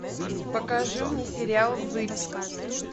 покажи мне сериал зыбь